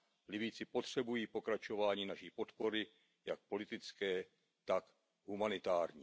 Libyjci potřebují pokračování naší podpory jak politické, tak humanitární.